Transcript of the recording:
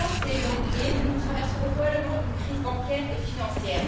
Huit ans c'est long et nous traverserons probablement une crise bancaire et financière.